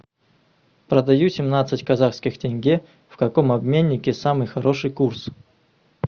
продаю семнадцать казахских тенге в каком обменнике самый хороший курс